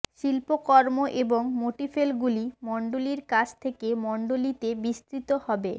শিল্পকর্ম এবং মোটিফেলগুলি মণ্ডলীর কাছ থেকে মণ্ডলীতে বিস্তৃত হবে